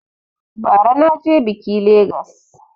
Ba ra na je biƙi Legas